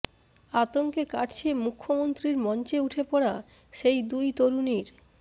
আতঙ্কে কাটছে মুখ্যমন্ত্রীর মঞ্চে উঠে পড়া সেই দুই তরুণীর